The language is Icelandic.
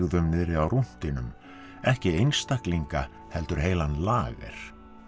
niðri á rúntinum ekki einstaklinga heldur heilan lager